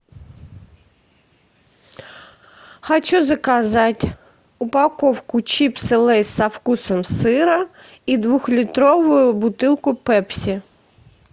хочу заказать упаковку чипсы лейс со вкусом сыра и двухлитровую бутылку пепси